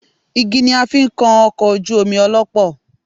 Igi ni a fi ń kan ọkọ̀ ojú omi ọlọ́pọ́